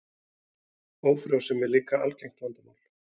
Ófrjósemi er líka algengt vandamál.